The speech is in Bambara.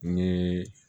Ni